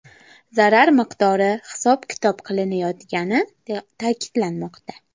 Zarar miqdori hisob-kitob qilinayotgani ta’kidlanmoqda.